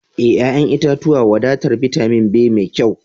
E, ƴa'ƴan itatuwa wadatar bitamin be mai kyau.